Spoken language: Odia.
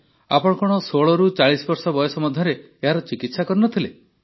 ଆପଣ କଣ ୧୬ରୁ ୪୦ ବର୍ଷ ବୟସ ମଧ୍ୟରେ ଏହାର ଚିକିତ୍ସା କରିନଥିଲେ